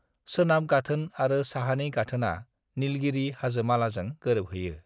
सोनाब गाथोन आरो साहानि गाथोनआ नीलगिरि हाजोमालाजों गोरोबहैयो।